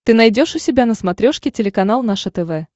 ты найдешь у себя на смотрешке телеканал наше тв